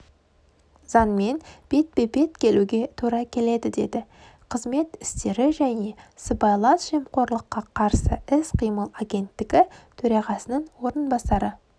заңмен бетпе-бет келуге тура келеді дедіқызмет істері және сыбайлас жемқорлыққа қарсы іс-қимыл агенттігі төрағасының орынбасары